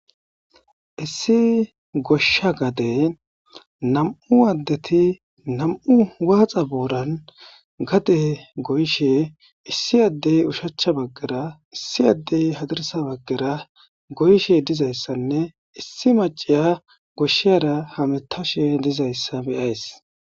Issi gosha gaden 2 adet 2 waxa boran gade goyshe issi adey oshicha bagara issi adey hadirsa bagara goyishe dizaysanne issi maciya goshara hamutashe dizaysa be'iyays.